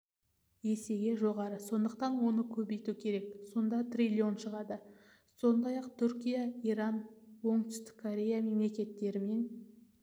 есеге жоғары сондықтан осы көбейту керек сонда триллион шығады сондай-ақ түркия иран оңтүстік корея мемлекеттерімен